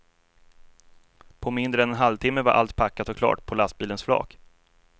På mindre än en halvtimme var allt packat och klart på lastbilens flak.